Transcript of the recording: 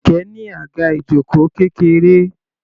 Kẹ̀kẹ́ ní àga ìjoko kékeré.